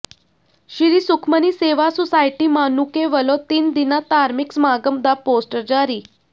ਸ੍ਰੀ Sukhmani Seva society Manuke ਵਲੋਂ ਤਿੰਨ ਦਿਨਾ ਧਾਰਮਿਕ ਸਮਾਗਮ ਦਾ ਪੋਸਟਰ ਜਾਰੀ